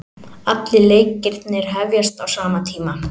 Allir leikirnir hefjast á sama tíma